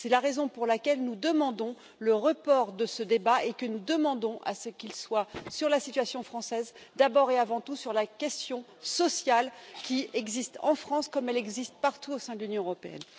C'est la raison pour laquelle nous demandons le report de ce débat et pour laquelle nous demandons à ce qu'il porte sur la situation française, d'abord et avant tout sur la question sociale qui existe en France, comme elle existe partout au sein de l'Union européenne.